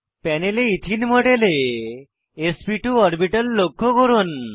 প্যানেলে ইথিন মডেলে sp two orbital লক্ষ্য করুন